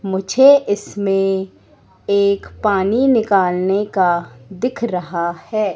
मुझे इसमें एक पानी निकालने का दिख रहा है।